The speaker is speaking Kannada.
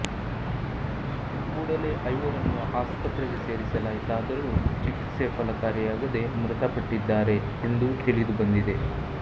ಕೂಡಲೆ ಐವರನ್ನು ಆಸ್ಪತ್ರೆಗೆ ಸೇರಿಸಲಾಯಿತಾದರೂ ಚಿಕಿತ್ಸೆ ಫಲಕಾರಿಯಾಗದೆ ಮೃತಪಟ್ಟಿದ್ದಾರೆ ಎಂದು ತಿಳಿದುಬಂದಿದೆ